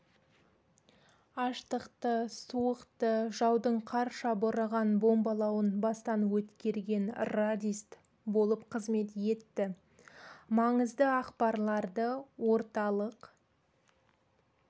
аштықты суықты жаудың қарша бораған бомбалауын бастан өткерген радист болып қызмет етті маңызды ақпарларды орталық